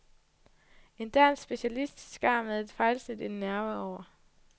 En dansk specialist skar med et fejlsnit en nerve over.